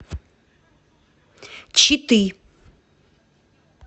читы